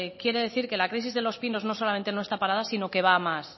quiere decir que la crisis de los pinos no solamente no está parada sino que va a más